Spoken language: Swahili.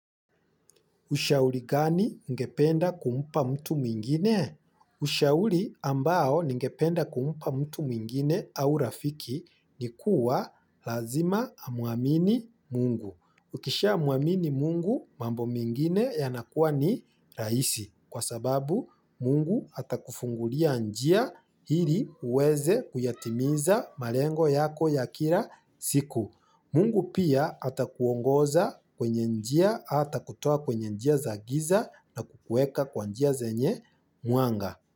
Ushauli gani ungependa kumpa mtu mwingine? Ushauli ambao ningependa kumpa mtu mwingine au rafiki ni kuwa lazima amwamini mungu. Ukisha mwamini mungu mambo mengine yanakuwa ni rahisi kwa sababu mungu atakufungulia njia ili uweze kuyatimiza malengo yako ya kira siku. Mungu pia ata kuongoza kwenye njia atakutoa kwenye njia za giza na kukueka kwa njia zenye mwanga.